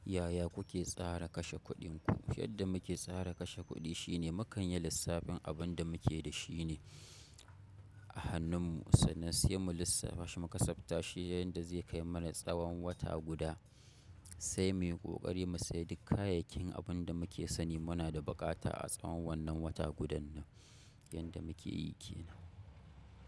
Yaya kuke tsara kashe kuɗin ku? Yadda muke tsara kashe kuɗi shine mukanyi lissafin abunda muke da shi ne a hannunmu sannan sai mu lissafashi mu kasaftashi yayin da zai kai mana tsawan wata guda sai muyi ƙoƙari mu saya duk kayayyakin abin da muke sani muna da buƙata a tsawan wannan wata gudannan yanda muke yi ke nan.